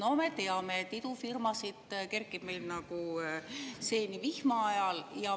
No me teame, et idufirmasid kerkib meil nagu seeni vihma ajal.